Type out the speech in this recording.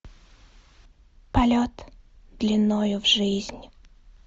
полет длиною в жизнь